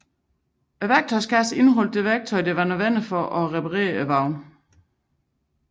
Værktøjskasser indeholdt værktøj som var nødvendigt til at reparere vognen